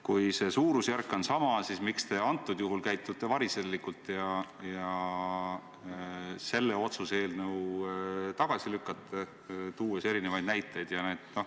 Kui see suurusjärk on sama, siis miks te käitute variserlikult ja selle otsuse eelnõu tagasi lükkate, tuues erinevaid näiteid?